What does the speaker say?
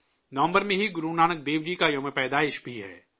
نومبر میں ہی گرونانک دیو جی کی جینتی بھی ہے